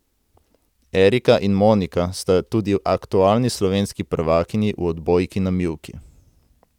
Erika in Monika sta tudi aktualni slovenski prvakinji v odbojki na mivki.